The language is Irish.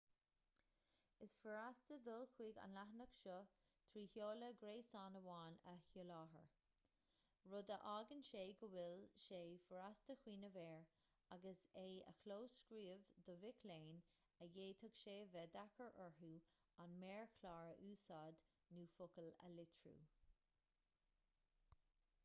is furasta dul chuig an leathanach seo trí sheoladh gréasáin amháin a sholáthar rud a fhágann go bhfuil sé furasta cuimhneamh air agus é a chlóscríobh do mhic léinn a bhféadfadh sé a bheith deacair orthu an méarchlár a úsáid nó focail a litriú